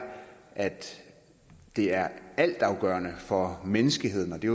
at det er altafgørende for menneskeheden og det